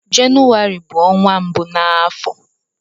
Jenụwarị bu onwa mbụ n'afọ.